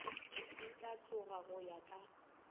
di hlatloga go ya ka